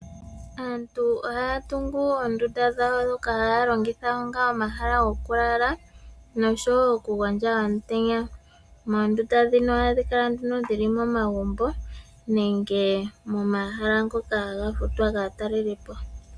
Aantu ohaya tungu oondunda dhawo ndhoka haya longitha onga omahala gokulala noshowoo okugondja omutenya. Oondunda ndhino nduno ohadhi kala dhili momagumbo nenge momahala ngoka haga futwa kaatalelipo.